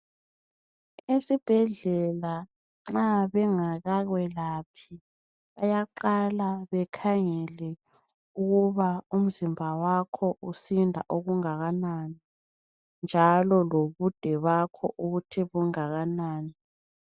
Esibhedlela nxa bengaka kwelaphi bayaqala bekhangele ukuba umzimba wakho usinda okungakanani njalo lomzimba wakho mude okungakanani